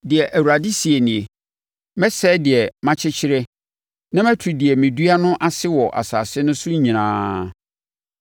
Deɛ Awurade seɛ nie: ‘Mɛsɛe deɛ makyekyereɛ na matu deɛ medua no ase wɔ asase no so nyinaa.